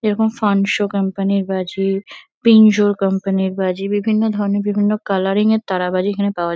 এরকম ফান্ডশো কোম্পানি -র বাজি পিঙ্কজো কোম্পানি -র বাজি বিভিন্ন ধরণের বিভিন্ন কালারিং -এর তারাবাজি এখানে পাওয়া--